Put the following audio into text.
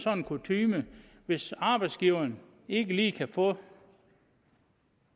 kutyme at hvis arbejdsgiveren ikke lige kan få